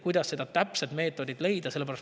Kuidas see täpne meetod leida?